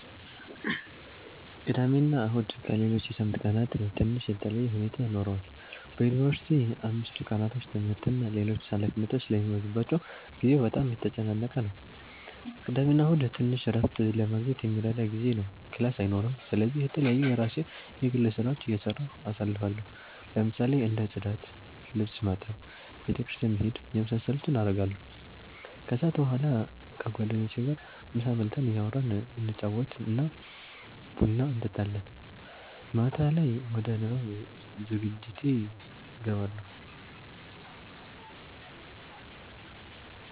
ቅዳሜና እሁድ ከሌሎች የሳምንት ቀናት ትንሽ የተለየ ሁኔታ ይኖረዋል በዩንቨርሲቲ አምስቱ ቀናቶች ትምህርት እና ሌሎች ኃላፊነቶች ስለሚበዙባቸው ጊዜው በጣም የተጨናነቀ ነው ግን ቅዳሜና እሁድ ትንሽ እረፍት ለማግኘት የሚረዳ ጊዜ ነው ክላስ አይኖርም ስለዚህ የተለያዩ የራሴን የግል ስራዎች እየሰራሁ አሳልፋለሁ ለምሳሌ እንደ ፅዳት፣ ልብስ ማጠብ፣ ቤተ ክርስቲያን መሄድ የመሳሰሉትን አረጋለሁ። ከሰዓት በኋላ ከጓደኞቼ ጋር ምሳ በልተን እያወራን እየተጫወትን ቡና እንጠጣለን። ማታ ላይ ወደ ንባብ ዝግጅቴ እገባለሁ።